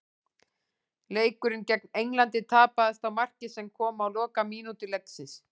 Leikurinn gegn Englandi tapaðist á marki sem kom á lokamínútu leiksins.